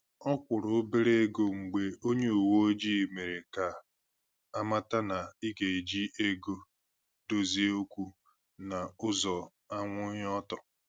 Ọ kwụrụ̀ obere égo mgbe onye uweojii mere ka amata na ị ga eji ego dozie okwu na ụzọ anwụghị ọtọ